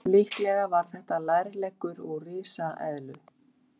Líklega var þetta lærleggur úr risaeðlu.